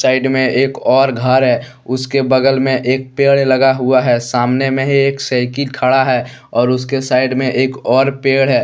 Side मे एक और घर है उसके बगल मे एक पेड़ लगा हुआ है। सामने मे ही एक साइकिल खड़ा है और उसके साइड मे एक और पेड़ है।